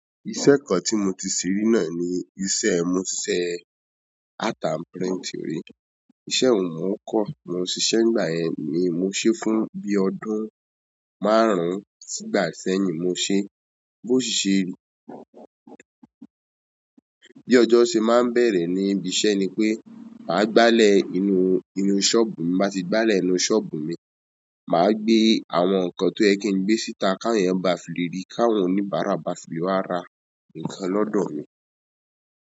Iṣẹ́ kan tí mo ti ṣẹ rí náà ni iṣẹ́— mo ṣiṣẹ́ art and printing rí, iṣẹ́ yẹn ni mò ń kọ́, mo ṣisẹ́ nígbà yẹn ni mo ṣé fún bí ọdún márùn-ún sí'gbà sẹ́yìn mo ṣé, bó ṣi ṣe bí ọjọ́ ṣe máa n bẹ̀rẹ̀ ní ibi iṣẹ́ ni pé màá gbálẹ̀ inú—inú ṣọ́ọ̀bù mi, tí mo bá ti gbálẹ̀ inú ṣọ́ọ̀bù mi, màá gbé àwọn ǹǹkan tó yẹ kí n gbé síta k'áwọn èèyàn ba fi lè rí, k'áwọn oníbàárà ba fi lè wá ra ǹǹkan lọ́dọ̀ mi.